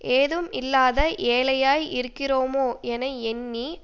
ஏதும் இல்லாத ஏழையாய் இருக்கிறோமோ என எண்ணி